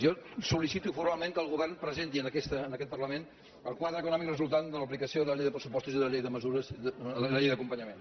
jo sol·licito formalment que el govern presenti en aquest parlament el quadre econòmic resultant de l’aplicació de la llei de pressupostos i de la llei de mesures de la llei d’acompanyament